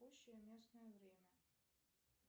текущее местное время